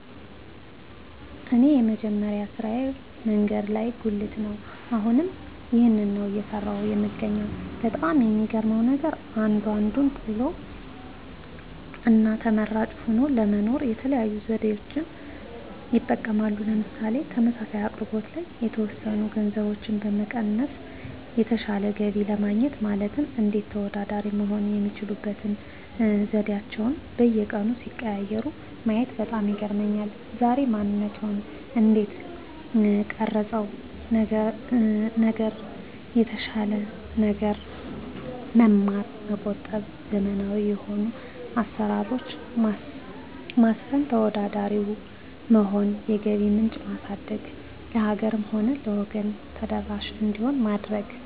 እኔ የመጀመሪያ ስራየ መንገድ ላይ ጉልት ነው አሁንም ይህንን ነው እየሰራሁ የምገኘው በጣም የሚገርመው ነገር አንዱ አንዱን ጥሎ እና ተመራጭ ሆኖ ለመኖር የተለያዩ ዘዴዎችን ይጠቀማል ምሳሌ ተመሳሳይ አቅርቦት ላይ የተወሰኑ ገንዘቦችን በመቀነስ የተሻለ ገቢ ለማግኘት ማለትም እንዴት ተወዳዳሪ መሆን የሚችሉበት ዘዴአቸዉን በየቀኑ ሲቀያይሩ ማየት በጣም ይገርመኛል ዛሬ ማንነትዎን እንዴት ቀረፀው ነገር የተሻለ ነገር መማር መቆጠብ ዘመናዊ የሆኑ አሰራሮች ማስፈን ተወዳዳሪ መሆን የገቢ ምንጭ ማሳደግ ለሀገርም ሆነ ለወገን ተደራሽ እንዲሆን ማድረግ